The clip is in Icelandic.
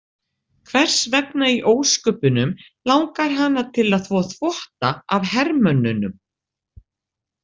Hvers vegna í ósköpunum langar hana til að þvo þvotta af hermönnunum?